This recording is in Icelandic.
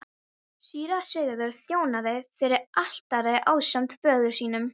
Síra Sigurður þjónaði fyrir altari ásamt föður sínum.